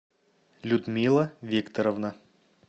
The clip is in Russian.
людмила викторовна